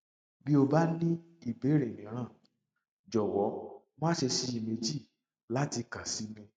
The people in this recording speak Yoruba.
bí o bá ní ìbéèrè míràn jọwọ má ṣe ṣiyèméjì láti kàn sí mi